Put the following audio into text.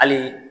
Hali